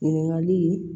Ɲininkali